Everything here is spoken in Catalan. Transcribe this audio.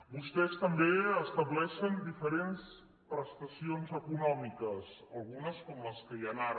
vostès també estableixen diferents prestacions econòmiques algunes com les que hi han ara